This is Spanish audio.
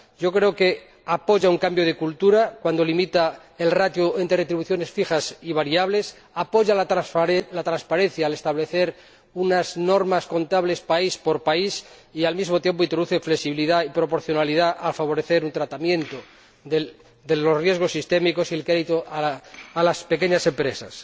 Yo creo que apoya un cambio de cultura cuando limita la ratio entre retribuciones fijas y variables, apoya la transparencia al establecer unas normas contables país por país y, al mismo tiempo, introduce flexibilidad y proporcionalidad al favorecer un tratamiento de los riesgos sistémicos y el crédito a las pequeñas empresas.